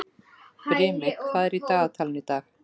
Brimi, hvað er í dagatalinu í dag?